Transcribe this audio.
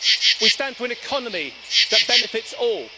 We stand for an economy that benefits all.